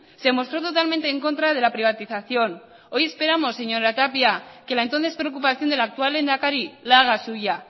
se mostró totalmente en contra de la privatización hoy esperamos señora tapia que la entonces preocupación del actual lehendakari la haga suya